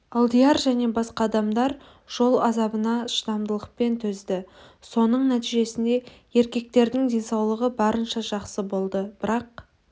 алдияр және басқа адамдар жол азабына шыдамдылықпен төзді соның нәтижесінде еркектердің денсаулығы барынша жақсы болды бірақ